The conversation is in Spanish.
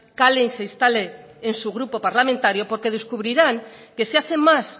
cale y se instale en su grupo parlamentario porque descubrirán que se hace más